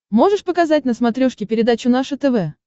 можешь показать на смотрешке передачу наше тв